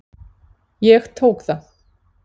Ég tók það.